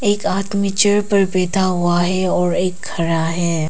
एक आदमी चेयर पर बैठा हुआ है और एक खड़ा है।